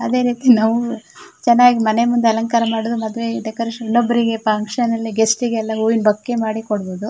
ಅದೆರೀತಿ ನಾವು ಚನ್ನಾಗಿ ಮನೆ ಮುಂದೆ ಅಲಂಕಾರ ಮಾಡೋದು ಮದ್ವೆಗೆ ಡೆಕೋರೇಷನ್ ಇನ್ನೊಬ್ರಿಗೆ ಫಕ್ಷನ್ ಎಲ್ಲಾ ಗೆಸ್ಟ್ ಗೆಲ್ಲಾ ಹೂವಿನ ಬೊಕ್ಕೆ ಮಾಡಿ ಕೊಡಬಹುದು.